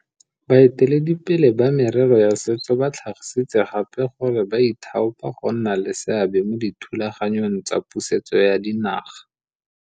Baeteledipele ba merero ya setso ba tlhagisitse gape gore ba ithaopa go nna le seabe mo dithulaganyong tsa pusetso ya dinaga.